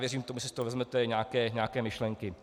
Věřím, že si z toho vezmete nějaké myšlenky.